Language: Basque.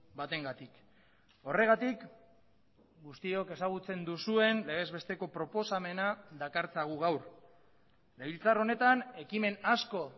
batengatik horregatik guztiok ezagutzen duzuen legez besteko proposamena dakartzagu gaur legebiltzar honetan ekimen asko